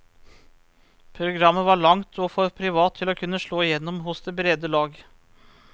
Programmet var langt og for privat til å kunne slå igjennom hos det brede lag.